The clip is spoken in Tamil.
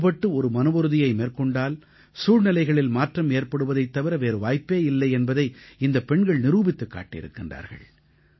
ஒன்றுபட்டு ஒரு மனவுறுதியை மேற்கொண்டால் சூழ்நிலைகளில் மாற்றம் ஏற்படுவதைத் தவிர வேறு வாய்ப்பே இல்லை என்பதை இந்தப் பெண்கள் நிரூபித்துக் காட்டியிருக்கின்றார்கள்